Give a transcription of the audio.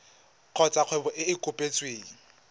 kgotsa kgwebo e e kopetsweng